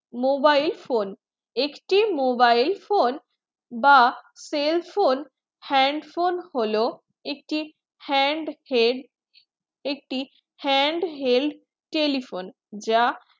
mobile phone একটি mobile phone বা cell phone hand phone হলো একটি hand head একটি hand held telephone যা